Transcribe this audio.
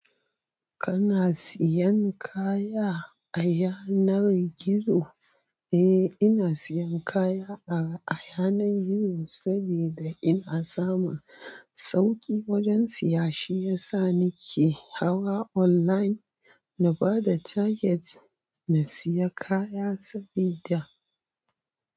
Kana siyan kaya a yanar gizo? Eh, ina siyan kaya a a yanar gizo saboda ina samun sauƙi wajen siya. Shi yasa nike hawa online na bada target na siya kaya saboda.